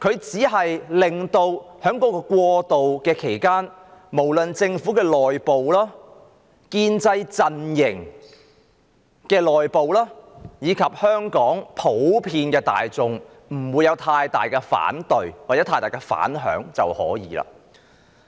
在過渡期間，只要政府內部、建制陣營內部，以及香港普羅大眾不會有太多反對或反響就可以了。